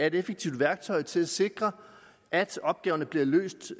et effektivt værktøj til at sikre at opgaverne bliver løst